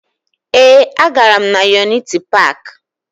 Ee, agara m na Yuniti Paakị